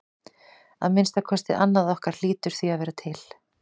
Að minnsta kosti annað okkar hlýtur því að vera til.